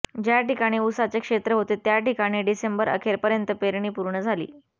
ज्या ठिकाणी उसाचे क्षेत्र होते त्या ठिकाणी डिसेंबरअखेर पर्यंत पेरणी पूर्ण झाली